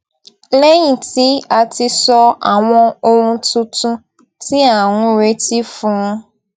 lẹyìn tí a ti sọ àwọn ohun tuntun tí a ń retí fún un